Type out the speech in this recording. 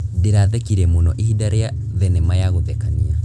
Ndĩrathekire mũno ihinda rĩa thenema ya gũthekania.